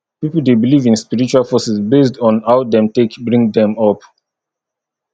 pipo de believe in spiritual forces based on how dem take bring dem up